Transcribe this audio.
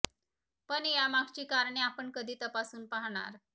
पण या मागची कारणे आपण कधी तपासून पाहणार